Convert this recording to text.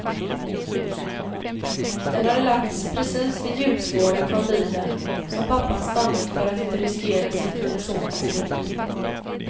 Den hade lagts precis vid hjulspåren från bilen, som pappan stannat för att inte riskera sitt eller sonens liv.